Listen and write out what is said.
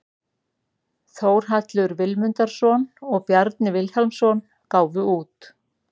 Þórhallur Vilmundarson og Bjarni Vilhjálmsson gáfu út.